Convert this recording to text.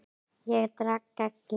Ég drekk ekki.